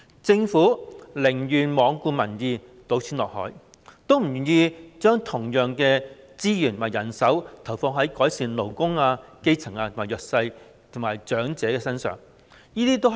政府寧願罔顧民意、"倒錢落海"，都不願意將同樣的資源和人手投放在改善勞工、基層、弱勢社群和長者福祉等方面。